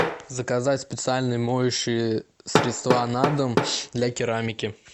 заказать специальные моющие средства на дом для керамики